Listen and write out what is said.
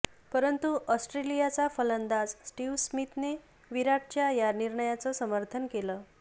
परंतू ऑस्ट्रेलियाचा फलंदाज स्टिव्ह स्मिथने विराटच्या या निर्णयाचं समर्थन केलं